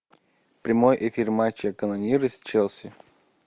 прямой эфир матча канониры с челси